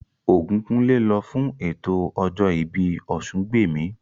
Ògúnkúnlé lọ fún ètò ọjọ́ ìbí Ọ̀sungbèmí